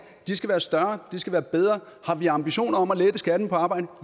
de skal være større de skal være bedre har vi ambitioner om at lette skatten på arbejde